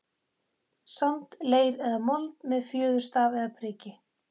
sand, leir eða mold, með fjöðurstaf eða priki.